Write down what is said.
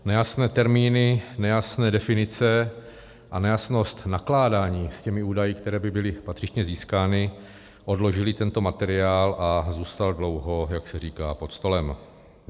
Nejasné termíny, nejasné definice a nejasnost nakládání s těmi údaji, které by byly patřičně získány, odložily tento materiál a zůstal dlouho, jak se říká, pod stolem.